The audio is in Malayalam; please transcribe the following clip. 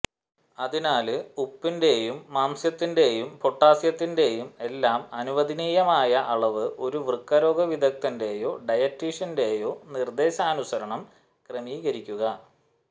അതിനാല് ഉപ്പിന്റെയും മാംസ്യത്തിന്റെയും പൊട്ടാസ്യത്തിന്റെയും എല്ലാം അനുവദനീയമായ അളവ് ഒരു വൃക്ക രോഗ വിദഗ്ധന്റെയോ ഡയറ്റീഷ്യന്റെയോ നിര്ദേശാനുസരണം ക്രമീകരിക്കുക